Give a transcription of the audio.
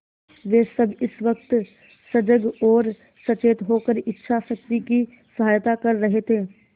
वे सब इस वक्त सजग और सचेत होकर इच्छाशक्ति की सहायता कर रहे थे